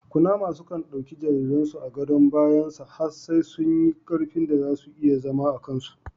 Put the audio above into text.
Kunama sukan ɗauki jariren su a gadon bayan sa has sai sun yi karfin da zau iya zama akan su